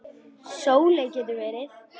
Sóley getur verið